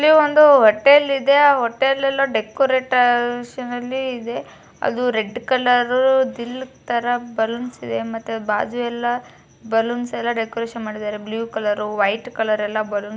ಇಲ್ಲೊಂದು ಹೋಟೆಲ್ ಇದೆ ಹೋಟೆಲಲ್ಲಿ ಡೆಕೋಟರೇಷನ್ ಅಲ್ಲಿ ಇದೆ. ಅದು ರೆಡ್ ಕಲರು ದಿಲ್ ತರ ಬಲೂನ್ಸ್ ಇದೆ ಬಾಜುಯಲ್ಲ ಬಲೂನ್ಸ್ ಎಲ್ಲ ಡೆಕೋರೇಷನ್ ಮಾಡಿದ್ದಾರೆ ಬ್ಲೂ ಕಲರ್ ವೈಟ್ ಕಲರ್ ಎಲ್ಲ ಬಲೂನ --